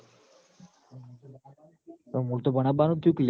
પણ મૂળ તો ભણાબબાનું થ્યુ ક લ્યા